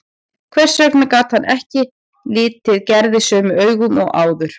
Hvers vegna gat hann ekki litið Gerði sömu augum og áður?